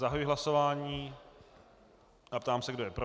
Zahajuji hlasování a ptám se, kdo je pro.